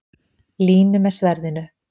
Línu með sverðinu.